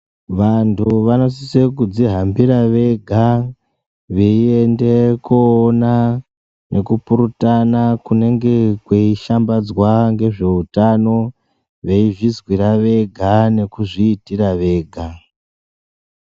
Vantu vanosise kudzihambira vega veiende koona nekupurutana kunenge kweishambadzwa ngezveutano, veizvizwira vega nekuzviitira vega.